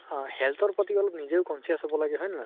অ health ৰ প্ৰতি অলপ নিজেও conscious হʼব লাগে হয় নে নহয়?